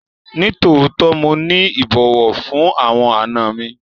Nitootọ, Mo ni ibọwọ fun awọn àna mi